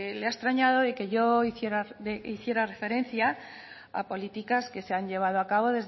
le ha extrañado de que yo hiciera referencia a políticas que se han llevado a cabo